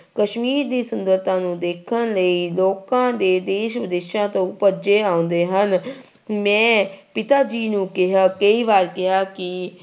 ਕਸ਼ਮੀਰ ਦੀ ਸੁੰਦਰਤਾ ਨੂੰ ਦੇਖਣ ਲਈ ਲੋਕਾਂ ਦੇ ਦੇਸ ਵਿਦੇਸ਼ਾਂ ਤੋਂ ਭੱਜੇ ਆਉਂਦੇ ਹਨ ਮੈਂ ਪਿਤਾ ਜੀ ਨੂੰ ਕਿਹਾ ਕਈ ਵਾਰ ਕਿਹਾ ਕਿ